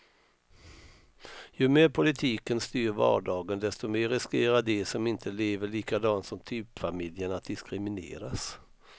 Ju mer politiken styr vardagen, desto mer riskerar de som inte lever likadant som typfamiljen att diskrimineras.